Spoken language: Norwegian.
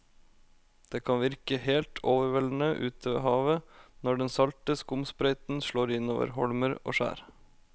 Det kan virke helt overveldende ute ved havet når den salte skumsprøyten slår innover holmer og skjær.